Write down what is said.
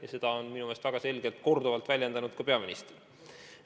Ja seda on minu meelest väga selgelt ja korduvalt väljendanud ka peaminister.